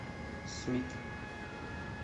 смит